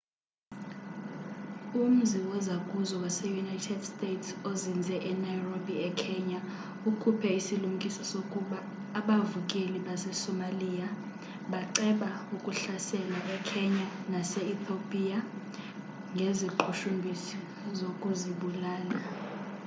umzi wozakuzo wase-united states ozinze enairobi ekenya ukhuphe isilumkiso sokuba abavukeli basesomalia baceba ukuhlasela ekenya nase-ethopia ngeziqhushumbisi zokuzibulala